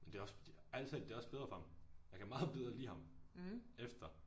Men det også fordi ærgligt talt det er også bedre for ham. Jeg kan meget bedre lide ham efter